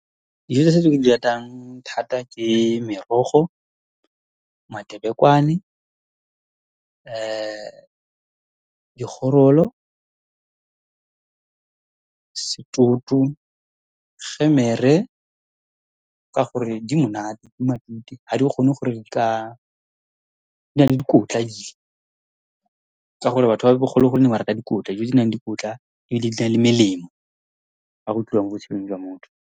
tse ke di ratang thata ke merogo, , gemere ka gore di monate, di matute, ha di kgone gore di ka, dina le dikotla , ka gore batho ba bogologolo ba ne ba rata dikotla. Dijo tse di nang le dikotla, ebile di na le melemo, ha go tliwa mo botshelong jwa motho.